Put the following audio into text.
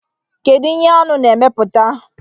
kedu ihe Aṅụ na-emeputa?